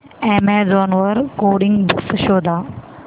Amazon वर coding books शोधा